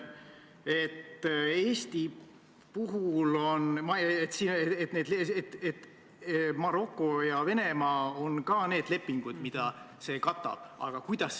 Me kuulsime, et see on menetluse raamidest välja läinud, aga selle raames oleks vabalt võinud ka nendega konsulteerida, neid informeerida.